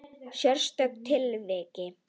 Sérstök tilvik.